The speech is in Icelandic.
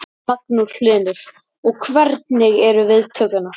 Magnús Hlynur: Og hvernig eru viðtökurnar?